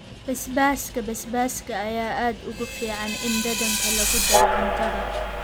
Basbaaska basbaaska ayaa aad ugu fiican in dhadhanka lagu daro cuntada.